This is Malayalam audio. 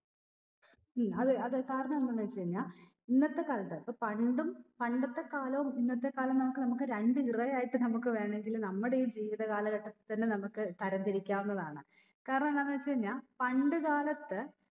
ഉം അത് അത് കാരണം എന്തെന്ന് വെച്ച് കഴിഞ്ഞ ഇന്നത്തെ കാലത്ത് ഇപ്പൊ പണ്ടും പണ്ടത്തെ കാലവും ഇന്നത്തെ കാലവും നമുക് നമുക്ക് രണ്ട് era ആയിട്ട് നമുക്ക് വേണെങ്കില് നമ്മുടെ ഈ ജീവിത കാലഘട്ടത്തിൽ തന്നെ നമുക്ക് തരം തിരിക്കാവുന്നതാണ് കാരണം എന്താന്ന് വെച്ച് കഴിഞ്ഞാ പണ്ട് കാലത്ത്